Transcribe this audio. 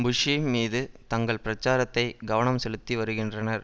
புஷ்ஷும் மீது தங்கள் பிரச்சாரத்தை கவனம் செலுத்தி வருகின்றனர்